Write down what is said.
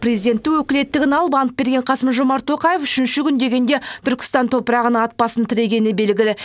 президенттік өкілеттігін алып ант берген қасым жомарт тоқаев үшінші күн дегенде түркістан топырағына ат басын тірегені белгілі